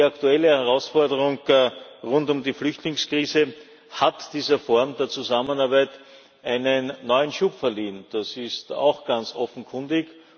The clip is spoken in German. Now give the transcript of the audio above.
Die aktuelle Herausforderung rund um die Flüchtlingskrise hat dieser Form der Zusammenarbeit einen neuen Schub verliehen, das ist auch ganz offenkundig.